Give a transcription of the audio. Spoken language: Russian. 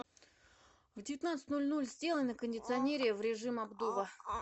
в девятнадцать ноль ноль сделай на кондиционере в режим обдува